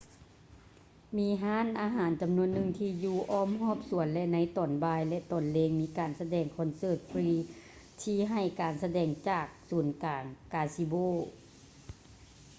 ມີຮ້ານອາຫານຈຳນວນໜຶ່ງທີ່ຢູ່ອ້ອມຮອບສວນ ແລະ ໃນຕອນບ່າຍ ແລະ ຕອນແລງມີການສະແດງຄອນເສີດຟຼີ ທີ່ໃຫ້ການສະແດງຈາກສູນກາງກາຊິໂບ